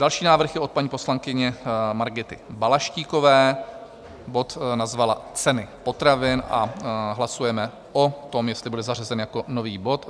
Další návrh je od paní poslankyně Margity Balaštíkové, bod nazvala Ceny potravin a hlasujeme o tom, jestli bude zařazen jako nový bod.